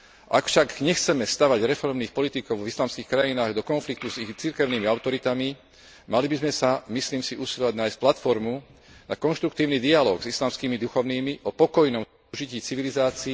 Ak však nechceme stavať reformných politikov v islamských krajinách do konfliktu s ich cirkevnými autoritami, mali by sme sa, myslím si, usilovať nájsť platformu na konštruktívny dialóg s islamskými duchovnými o pokojnom súžití civilizácií...